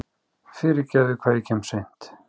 Fyrirgefiði hvað ég kem seint.